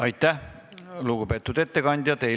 Aitäh, lugupeetud ettekandja!